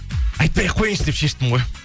айтпай ақ қояйыншы деп шештім ғой